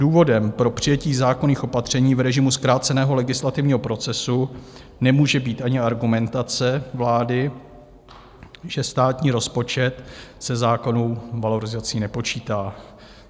Důvodem pro přijetí zákonných opatření v režimu zkráceného legislativního procesu nemůže být ani argumentace vlády, že státní rozpočet se zákonnou valorizací nepočítá.